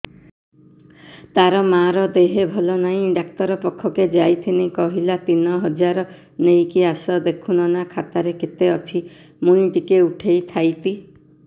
ତାର ମାର ଦେହେ ଭଲ ନାଇଁ ଡାକ୍ତର ପଖକେ ଯାଈଥିନି କହିଲା ତିନ ହଜାର ନେଇକି ଆସ ଦେଖୁନ ନା ଖାତାରେ କେତେ ଅଛି ମୁଇଁ ଟିକେ ଉଠେଇ ଥାଇତି